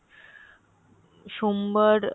সোমবার আহ